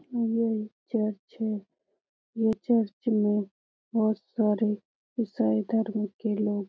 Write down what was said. यह एक चर्च है। यह चर्च में बोहोत सारे ईसाई धर्म के लोग--